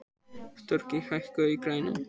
Draumey, hækkaðu í græjunum.